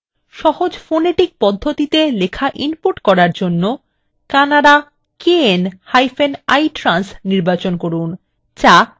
সহজ phonetic পদ্ধতিতে লেখা ইনপুট করার জন্য kannada knitrans নির্বাচন করুন যা baraha পদ্ধতির অনুরূপ